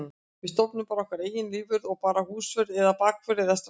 Við stofnum bara okkar eigin lífvörð eða bara húsvörð eða baðvörð eða strandvörð.